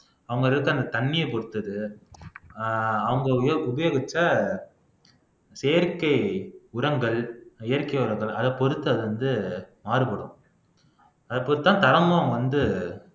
அவங்க இருக்குற அந்த தண்ணிய பொறுத்துட்டு ஆஹ் அவுங்க உபயோ உபயோகிச்ச செயற்கை உரங்கள் இயற்கை உரங்கள் அத பொறுத்தது வந்து மாறுபடும் அதைப் பொறுத்துதான் தரமும் வந்து